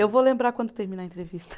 Eu vou lembrar quando terminar a entrevista.